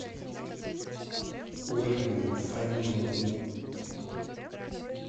ольгу фаниловну